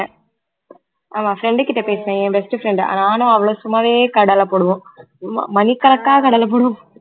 ஆமா friend கிட்ட பேசனேன் என் best friend நானும் அவளும் சும்மாவே கடலை போடுவோம் மணி கணக்கா கடலை போடுவோம்